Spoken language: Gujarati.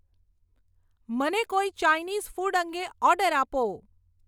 મને કોઈ ચાઈનીસ ફૂડ અંગે ઓર્ડર આપો